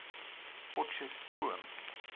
potcheftsroom